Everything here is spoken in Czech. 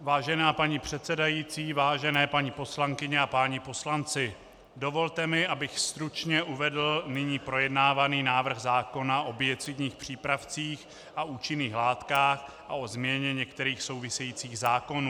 Vážená paní předsedající, vážené paní poslankyně a páni poslanci, dovolte mi, abych stručně uvedl nyní projednávaný návrh zákona o biocidních přípravcích a účinných látkách a o změně některých souvisejících zákonů.